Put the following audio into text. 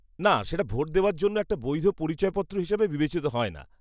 না, সেটা ভোট দেওয়ার জন্য একটা বৈধ পরিচয়পত্র হিসেবে বিবেচিত হয় না।